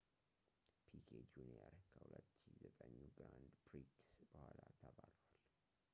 ፒኬ ጁንየር ከ2009ኙ ግራንድ ፕሪክስ በኋላ ተባሯል